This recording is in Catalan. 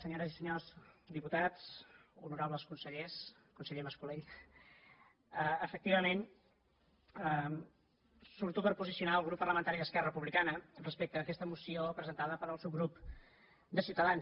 senyores i senyors diputats honorables consellers conseller mas colell efectivament surto per posicionar el grup parlamentari d’esquerra republicana respecte a aquesta moció presentada pel subgrup ciutadans